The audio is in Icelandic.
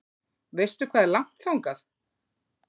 Veistu hvað er langt þangað?